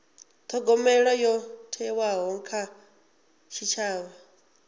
thogomelo yo thewaho kha tshitshavha